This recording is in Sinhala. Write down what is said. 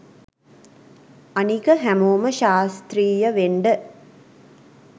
අනික හැමෝම ශාස්ත්‍රීය වෙන්ඩ